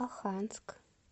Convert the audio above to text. оханск